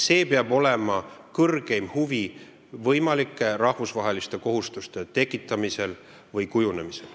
See peab olema kõrgeim huvi võimalike rahvusvaheliste kohustuste tekitamisel või kujunemisel.